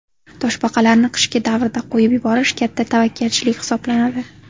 Toshbaqalarni qishgi davrda qo‘yib yuborish katta tavakkalchilik hisoblanadi.